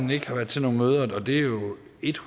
et